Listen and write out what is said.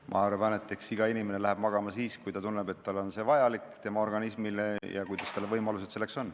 Ma arvan, et iga inimene läheb magama siis, kui ta tunneb, et see on vajalik talle ja tema organismile, ja kui tal selleks võimalust on.